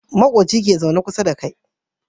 Makoci ke zaune kusa da kai